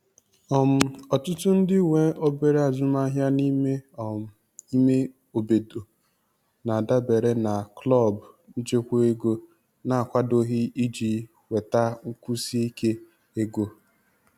um Ọtụtụ ndị nwe obere azụmaahịa n'me um ime obodo na-adabere na klọb nchekwa ego na-akwadoghị iji nweta nkwụsi ike ego.